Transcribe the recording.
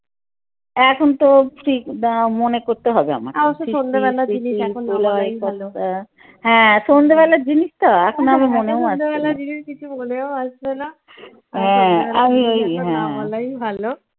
এখন তো ঠিক আহ মনে করতে হবে আমায় হ্যাঁ সন্ধ্যে বেলার জিনিস তো এখন